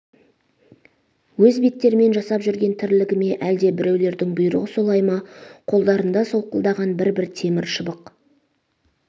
өз беттермен жасап жүрген тірлігі ме әлде біреулердің бұйрығы солай ма қолдарында солқылдаған бір-бір темір шыбық